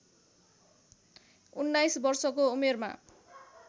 उन्नाइस वर्षको उमेरमा